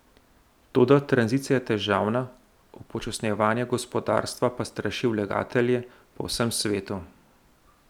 Toda tranzicija je težavna, upočasnjevanje gospodarstva pa straši vlagatelje po vsem svetu.